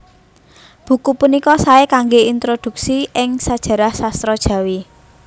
Buku punika saé kanggé introdhuksi ing sajarah sastra Jawi